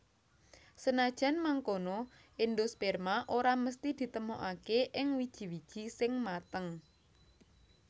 Senajan mangkono endosperma ora mesthi ditemokaké ing wiji wiji sing mateng